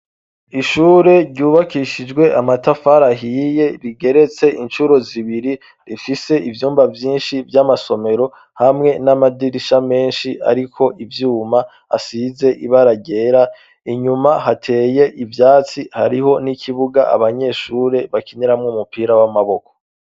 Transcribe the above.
Ishure ryubakishijwe amatafarahiye rigeretse incuro zibiri rifise ivyumba vyinshi vy'amasomero hamwe n'amadirisha menshi, ariko ivyuma asize ibaragera inyuma hateye ivyatsi hariho n'ikibuga abanyeshure bakinyeramwo umupira w'amaboko.